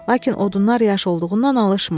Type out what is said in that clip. Lakin odunlar yaş olduğundan alışmırdı.